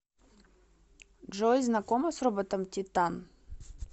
джой знакома с роботом титан